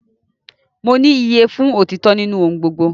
Mo ní iyye fún otitọ nínú ohùn gbogbo